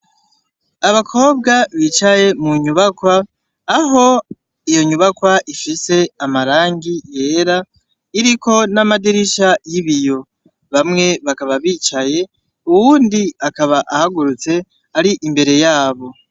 Abakobwa bicaye munyubakwa aho iyo nyubakwa ifise amaragi yera iriko n'amadarisha y'ibiyo bamwe bakaba bicaye uwundi akaba ahagurutse ar'imbere yabo.